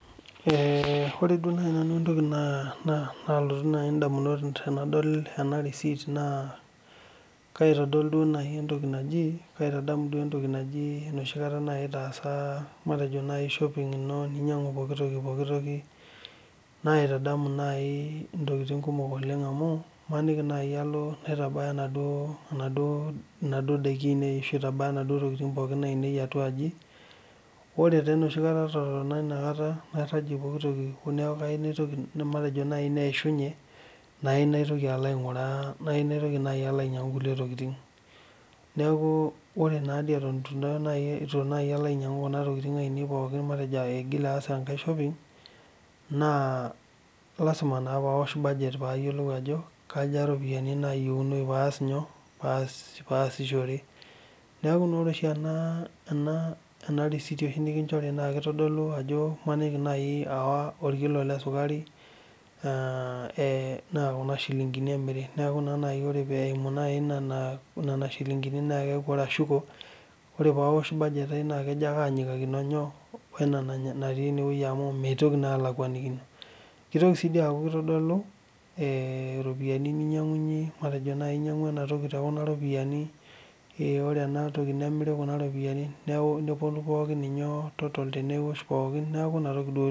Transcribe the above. Ore entoki naitadamu nanu ena recite naa enoshi kata indipa ainyangu intokiking toldukai. Kaitadamu sii intokiting kumok amuu ore naaji paalo abaya atuaji naitayu nena tokiting ore ake peelo peishunye naitoki aitayu omaishu naitoki alo aitoki ayau naa kaaliki nayiolou eneba inaitoki alo ayaou .Neeku naa ore oshi ena recite naa imaniki naaji aawa orkilo lesukari naa kuna ropiani emiri neeku ore ashuko ore burget ai naa kenyikakino ake. kitodolu sii entoki namiri intokiting